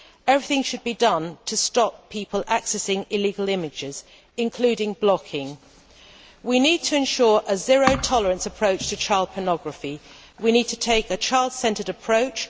Everything should be done to stop people accessing illegal images, including blocking. We need to ensure a zero tolerance approach to child pornography, and we need to take a child centred approach.